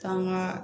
K'an ka